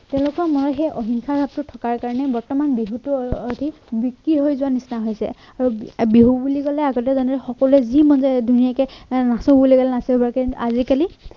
তেওঁলোকৰ মনত সেই অহিংসাৰ ভাৱটো থকাৰ কাৰণে বৰ্তমান বিহুটো অ অধিক বিক্ৰি হৈ যোৱা নিচিনা হৈছে বিহু বুলি কলে আগতে মানুহে সকলোৱে যি মন যায় ধুনীয়াকে নাই নাচো বুলি কলে নাচিব পাৰে কিন্তু আজিকালি